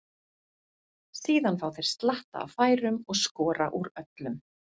Síðan fá þeir slatta af færum og skora úr öllum.